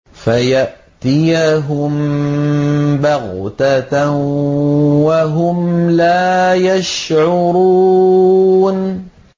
فَيَأْتِيَهُم بَغْتَةً وَهُمْ لَا يَشْعُرُونَ